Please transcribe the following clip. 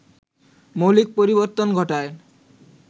মৌলিক পরিবর্তন ঘটায়